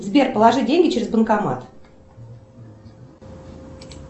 сбер положи деньги через банкомат